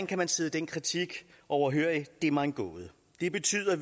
kan sidde den kritik overhørig er mig en gåde det betyder